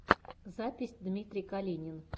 запись дмитрий калинин